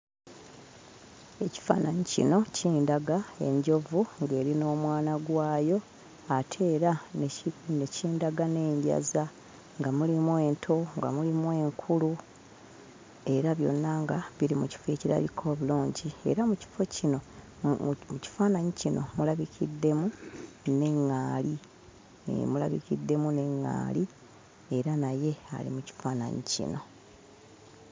Ekifaananyi kino kindaga enjovu ng'eri n'omwana gwayo ate era ne kindaga n'enjaza nga mulimu ento, nga mulimu enkulu era byonna nga biri mu kifo ekirabika obulungi; era mu kifo kino, mu kifaananyi kino mulabikiddemu ne ŋŋaali. Hee, mulabikiddemu ne ŋŋaali, era naye ali mu kifaananyi kino.